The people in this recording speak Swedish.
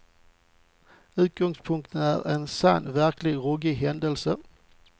Utgångspunkten är en sann, verkligt ruggig händelse.